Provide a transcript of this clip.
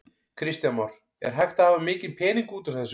Kristján Már: Er hægt að hafa mikinn pening út úr þessu?